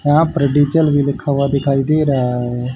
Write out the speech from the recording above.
यहां पर डीजल भी लिखा हुआ दिखाई दे रहा है।